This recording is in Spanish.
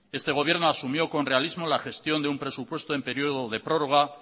este gobierno asumió con realismo la gestión de un presupuesto en periodo de prórroga